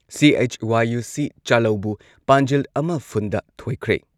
CHYUC. ꯆꯥꯂꯧꯕꯨ ꯄꯥꯟꯖꯤꯜ ꯑꯃ ꯐꯨꯟꯗ ꯊꯣꯏꯈ꯭ꯔꯦ꯫